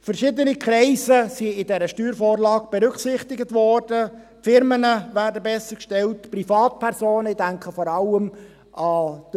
Verschiedene Kreise wurden in dieser Steuervorlage berücksichtigt, die Firmen werden bessergestellt, die Privatpersonen werden bessergestellt;